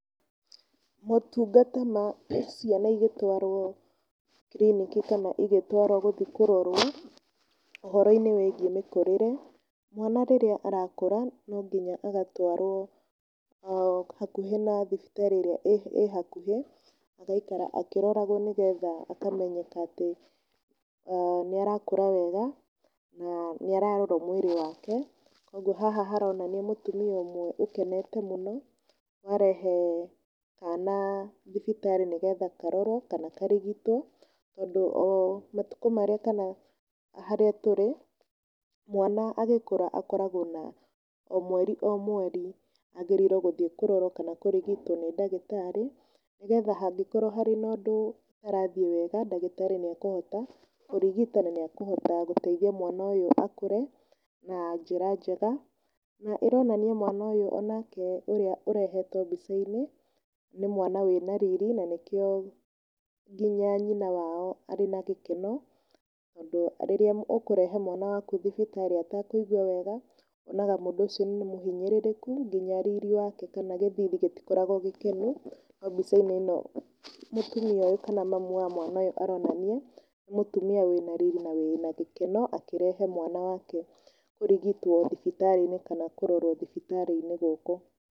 Motungata ma ciana igĩtwarwo kiriniki kana igĩtwarwo gũthiĩ kũrorwo ũhoro-inĩ wĩgie mĩkũrĩre, mwana rĩrĩa arakũra nonginya agatwarwo hakũhĩ na thibitarĩ ĩrĩa ĩhakũhĩ agaikara akĩroragwo nĩgetha akamenyeka atĩ nĩ arakũra wega na nĩararorwo mwĩrĩ wake. Ũguo haha harorania mũtumia ũmwe ũkenete mũno warehe kana thibitarĩ nĩ getha karorwo kana karigitwo, tondũ o matũkũ marĩa kana harĩa tũrĩ mwana agĩkũra akoragwo na o mweri o mweri agĩrĩirwo gũthiĩ kũrorwo kana kũrigitwo nĩ ndagĩtarĩ nĩgetha hangĩkorwo harĩ na ũndũ ũtarathiĩ wega ndagĩtarĩ nĩekũhota kũrigita na nĩakũhota gũteithia mwana ũyũ akũre na njĩra njega. Na ĩronania mwana ũyũ o nake ũrĩa ũrehetwo mbica-inĩ, nĩ mwana wĩna riri na nĩkĩo nginya nyina wao arĩ na gĩkeno tondũ rĩrĩa ũkũrehe mwana waku thibitarĩ etekũigua wega wona mũndũ ũcio nĩ mũhinyĩrĩku nginya riri wake kana gĩthithi gĩtikoragwo gĩkenu no mbica-inĩ ĩno mũtumia ũyũ kana mami wa mwana ũyũ aronani nĩ mũtumia wĩna riri na wĩna gĩkeno akĩrehe mwana wake kũrigitwo thibitarĩ-inĩ kana kũrorwo thibitarĩ-inĩ gũkũ.